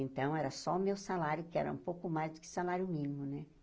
Então, era só o meu salário, que era um pouco mais do que salário mínimo, né?